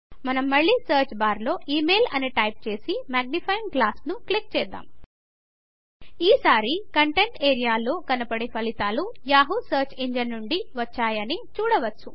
మనం మళ్ళీ సర్చ్ బార్లో ఇమెయిల్ అని టైప్ చేసి మాగ్నిఫయింగ్ గ్లాస్ను క్లిక్ చేద్దాం ఈ సారి కంటెంట్ ఏరియాలో కనపడే ఫలితాలు యాహూ సర్చ్ ఇంజన్ నుండి వచ్చాయి అని చూడవచ్చు